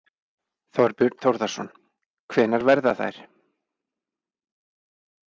Þorbjörn Þórðarson: Hvenær verða þær?